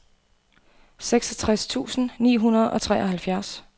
seksogtres tusind ni hundrede og treoghalvfjerds